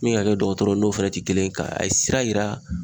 Min ye ka kɛ dɔgɔtɔrɔ n'o fɛnɛ ti kelen ye ka a ye sira yira